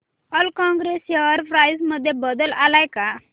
Allcargo share price मध्ये बदल आलाय का